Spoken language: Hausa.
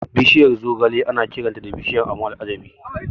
Bishiyar zogale ana kiranta da "Bishiyar abun al'ajabi".